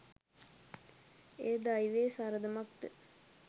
එය දෛවයේ සරදමක් ද